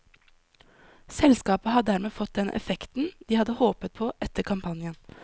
Selskapet har dermed fått den effekten de hadde håpet på etter kampanjen.